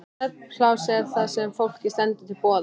Svefnpláss er það sem fólki stendur til boða.